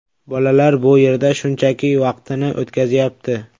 Bolalar bu yerda shunchaki vaqtini o‘tkazyapti.